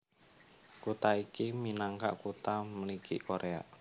Kutha iki minangka Kutha Mligi Koréa